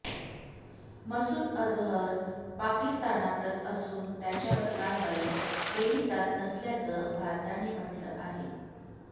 मसूद अजहर पाकिस्तानातच असून त्याच्यावर कारवाई केली जात नसल्याचं भारताने म्हटलं आहे